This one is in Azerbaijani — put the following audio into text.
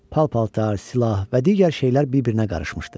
Pal-paltar, silah və digər şeylər bir-birinə qarışmışdı.